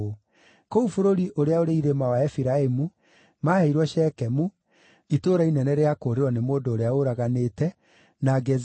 Kũu bũrũri ũrĩa ũrĩ irĩma wa Efiraimu maaheirwo Shekemu (itũũra inene rĩa kũũrĩrwo nĩ mũndũ ũrĩa ũraganĩte), na Gezeri,